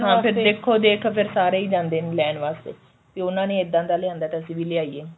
ਹਾਂ ਫੇਰ ਦੇਖੋ ਦੇਖ ਫੇਰ ਸਾਰੇ ਹੀ ਜਾਂਦੇ ਨੇ ਲੈਣ ਵਾਸਤੇ ਕਿ ਉਹਨਾ ਨੇ ਇੱਦਾਂ ਦਾ ਲਿਆਂਦਾ ਤਾਂ ਅਸੀਂ ਵੀ ਲੈ ਆਈਏ